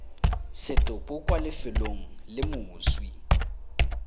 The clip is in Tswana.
setopo kwa lefelong le moswi